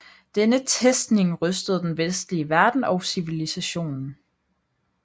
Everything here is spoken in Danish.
Denne testning rystede den vestlige verden og civilisationen